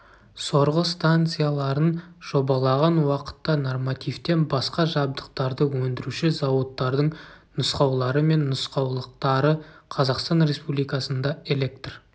сорғы станцияларын жобалаған уақытта нормативтен басқа жабдықтарды өндіруші зауыттардың нұсқаулары мен нұсқаулықтары қазақстан республикасында электр